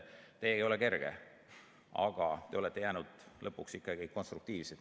See ei ole kerge, aga te olete jäänud lõpuks ikkagi konstruktiivseks.